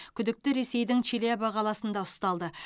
күдікті ресейдің челябі қаласында ұсталды